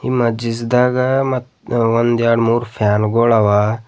ಮಜಿಸಿದಾಗ ಮತ್ತ್ ಒಂದ ಎರಡ್ ಮೂರು ಫ್ಯಾನ್ ಗೋಳ್ ಅವ.